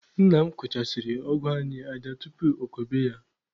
Nna m kụchasịrị ọgụ anyị aja tupu okobe ya.